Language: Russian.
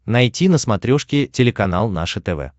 найти на смотрешке телеканал наше тв